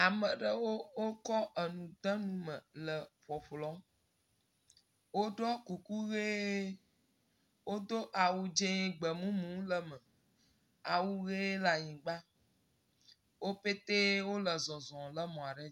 Ame ɖewo kɔ enu de nu me le ƒɔƒlɔm. woɖɔ kuku ʋi, wodo awɔu dze gbemumu le eme. Awu ʋe le anyigba. Wo pɛtɛ wole zɔzɔm le mɔ ɖe dzi.